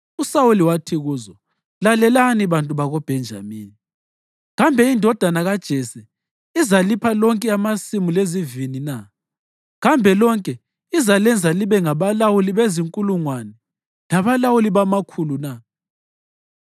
USawuli wathi kuzo, “Lalelani bantu bakoBhenjamini! Kambe indodana kaJese izalipha lonke amasimu lezivini na? Kambe lonke izalenza libe ngabalawuli bezinkulungwane labalawuli bamakhulu na?